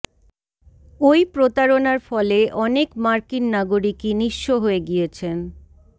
ওই প্রতারণার ফলে অনেক মার্কিন নাগরিকই নিঃস্ব হয়ে গিয়েছেন